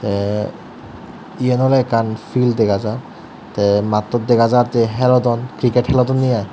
tey eyen oley ekkan pil dega jar tey mattot jar je helodon kriket helodonney aai.